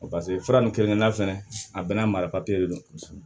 Paseke fura nin kelen-kelenna fɛnɛ a bɛɛ n'a mara de do